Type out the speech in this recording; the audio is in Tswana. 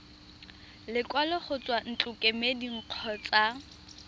lekwalo go tswa ntlokemeding kgotsa